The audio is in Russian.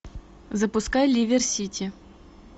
запускай ливер сити